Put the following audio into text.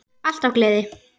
Alltaf gleði.